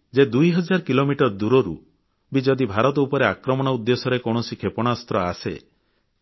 ଏହା ଏତେ ଶକ୍ତିଶାଳୀ ଯେ 2000 କିଲୋମିଟର ଦୂରରୁ ବି ଯଦି ଭାରତ ଉପରେ ଆକ୍ରମଣ ଉଦ୍ଦେଶ୍ୟରେ କୌଣସି କ୍ଷେପଣାସ୍ତ୍ର ଆସେ